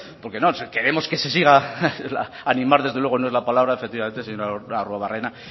queremos que se siga animar desde luego no es la palabra efectivamente señor arruabarrena